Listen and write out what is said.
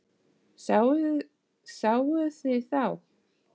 Sáuð þið þá?